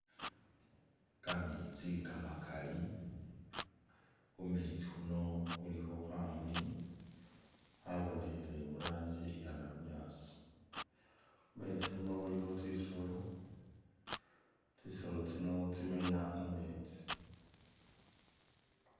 Kameetsi kamakali, khumeetsi khuno khulikho khamuli khabonekhele murangi iya nalunyasi, khumeetsi khuno khulikho tsisolo, tsisolo tsino tsimenya mumetsi.